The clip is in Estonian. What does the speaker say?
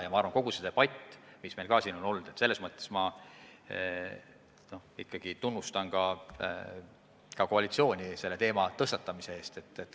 Veel arvan, et koalitsiooni tuleb tunnustada kogu selle debati algatamise eest, mis meil siin on olnud.